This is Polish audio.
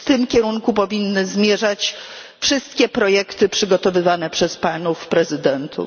W tym kierunku powinny zmierzać wszystkie projekty przygotowywane przez panów przewodniczących.